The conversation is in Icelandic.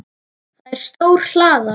Það er stór hlaða.